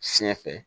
Siɲɛ fɛ